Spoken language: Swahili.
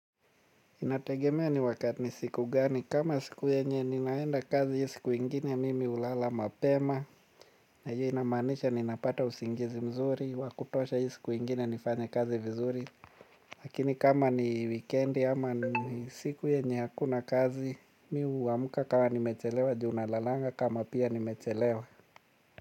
Inategemea ni wakati ni siku gani kama siku yenye ninaenda kazi hii siku ingine mimi hulala mapema. Na hiyo inamaanisha ninapata usingizi mzuri wa kutosha hii siku ingine nifanya kazi vizuri. Lakini kama ni wikendi ama ni siku yenye hakuna kazi mimi huamka kama nimechelewa juu nalalanga kama pia nimechelewa.